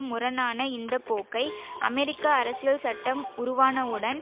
முரணான இந்த போக்கை அமெரிக்க அரசியல் சட்டம் உருவானவுடன்